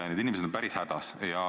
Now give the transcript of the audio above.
Need inimesed on päris hädas.